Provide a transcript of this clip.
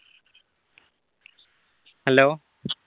hello